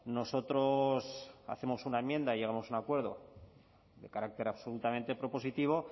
nosotros hacemos una enmienda y llegamos a un acuerdo de carácter absolutamente propositivo